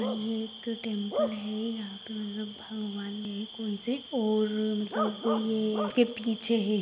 आणि ये एक टैम्पल है यहाँ पे मतलब भगवान है कोई से और मतलब ये इसके पिछे है।